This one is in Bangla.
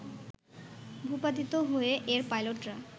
ভূপাতিত হয়ে এর পাইলটরা